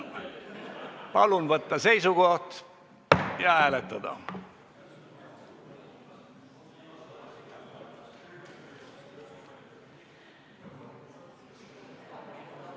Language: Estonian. Palun võtta seisukoht ja hääletada!